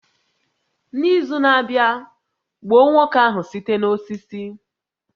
N'izu na-abịa, gbuo nwoke ahụ site n'osisi